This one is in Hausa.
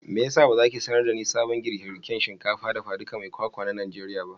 meyasa bazaki sanar dani sabon girkin girkin shinkafa dafa ɗuka mai kwakwa na najeriya ba?